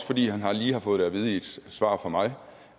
fordi han lige har fået det at vide i et svar fra mig